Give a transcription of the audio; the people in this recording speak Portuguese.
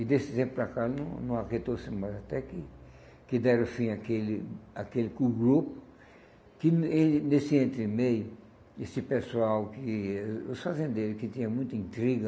E desse tempo para cá, não não aquietou-se mais, até que que deram fim àquele àquele com o grupo, que ele nesse entremeio, esse pessoal que, o os fazendeiros, que tinham muita intriga,